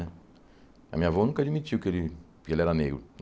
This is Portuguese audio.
A minha avó nunca admitiu que ele que ele era negro.